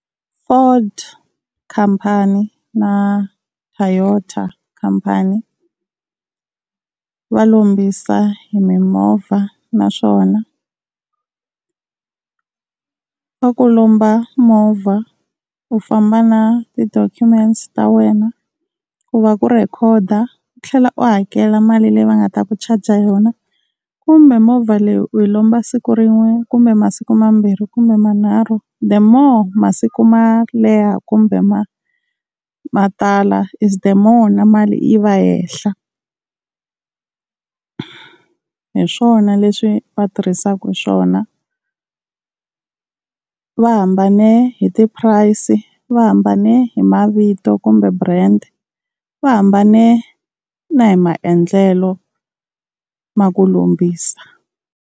Ford khampani na Toyota khampani va lombisa hi mimovha naswona va ku lomba movha u famba na tidokumente ta wena ku va ku record-a, u tlhela u hakela mali leyi va nga ta ku charger yona, kumbe movha leyi u yi lomba siku rin'we kumbe masiku mambirhi kumbe manharhu, the more masiku ma leha kumbe ma matala is the more na mali yi va henhla. Hi swona leswi va tirhisaka swona. Va hambane hi ti-price, va hambane hi mavito kumbe brand, va hambane na hi maendlelo ma ku lombisa.